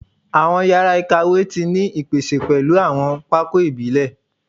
Awọn yara ikawe ti ni ipese pẹlu awọn pákó ibile